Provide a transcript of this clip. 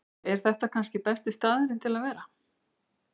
Er þetta kannski besti staðurinn til að vera?